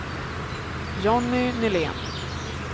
Jonny Nylén